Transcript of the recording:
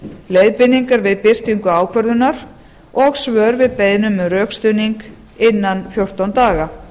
leiðbeiningar við birtingu ákvörðunar og svör við beiðnum um rökstuðning innan fjórtán daga